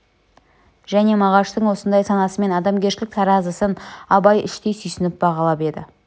және мағаштың осындай санасы мен адамгершілік таразысын абай іштей сүйсініп бағалап еді